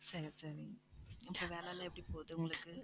சரி, சரி இந்த வேலை எல்லாம் எப்படி போகுது உங்களுக்கு